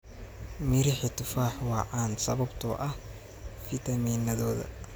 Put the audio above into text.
Mirixi tufax waa caan sababtoo ah fitamiinnadooda.